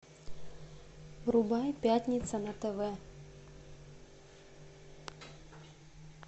врубай пятница на тв